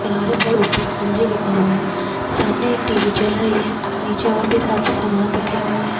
किनारे पर ऊपर एलजी लिखा हुए है सामने एक टीवी चल रही है नीचे और भी काफी सामान रखे हुए है।